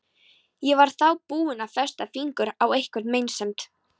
Ég var þá búin að festa fingur á einhverri meinsemd.